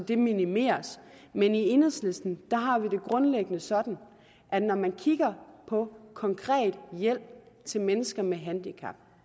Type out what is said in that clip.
det minimeres men i enhedslisten har vi det grundlæggende sådan at når man kigger på konkret hjælp til mennesker med handicap